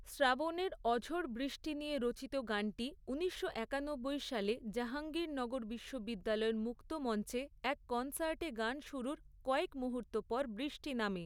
শ্রাবণের অঝোর বৃষ্টি নিয়ে রচিত গানটি ঊনিশশো একানব্বই সালে জাহাঙ্গীরনগর বিশ্ববিদ্যালয়ের মুক্তমঞ্চে এক কনসার্টে গান শুরুর কয়েক মুহূর্ত পর বৃষ্টি নামে।